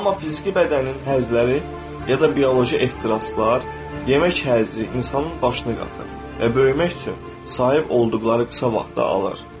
Amma fiziki bədənin həzləri ya da bioloji ehtiraslar, yemək həzzi insanın başını qatır və böyümək üçün sahib olduqları qısa vaxtı alır.